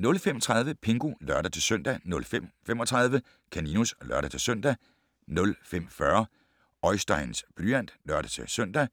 05:30: Pingu (lør-søn) 05:35: Kaninus (lør-søn) 05:40: Oisteins blyant (lør-søn)